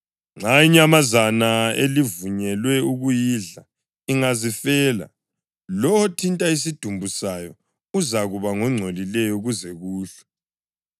Nxa inyamazana elivunyelwe ukuyidla ingazifela, lowo othinta isidumbu sayo uzakuba ngongcolileyo kuze kuhlwe.